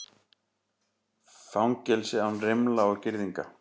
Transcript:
Fangelsi án rimla og girðinga